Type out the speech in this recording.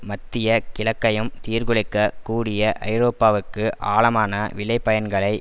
மத்திய கிழக்கையும் சீர்குலைக்கக் கூடிய ஐரோப்பாவுக்கு ஆழமான விளைபயன்களை